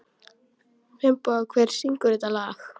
Finnboga, hver syngur þetta lag?